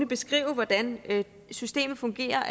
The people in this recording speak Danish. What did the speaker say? beskrive hvordan systemet fungerer